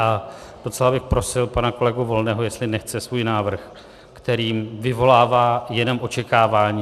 A docela bych prosil pana kolegu Volného, jestli nechce svůj návrh, který vyvolává jenom očekávání...